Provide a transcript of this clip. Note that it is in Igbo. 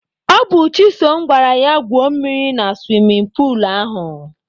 Ọ bụ Chisom gwara ya gwuo mmiri na suwimin puulu ahụ.